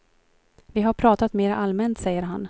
Vi har pratat mera allmänt, säger han.